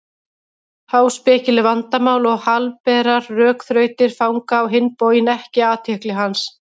Háspekileg vandamál og helberar rökþrautir fanga á hinn bóginn ekki athygli hans.